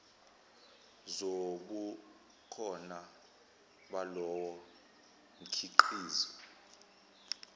zobukhona balowo mkhiqizo